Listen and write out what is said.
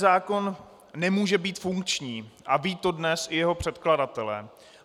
Zákon nemůže být funkční a vědí to dnes i jeho předkladatelé.